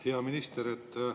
Hea minister!